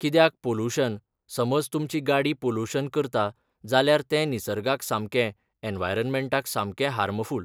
कित्याक पोलुशन समज तुमची गाडी पोलुशन करता जाल्यार तें निसर्गाक सामकें, एनवायरमॅण्टाक सामकें हार्मफूल